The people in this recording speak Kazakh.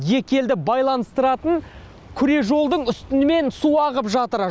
екі елді байланыстыратын күре жолдың үстімен су ағып жатыр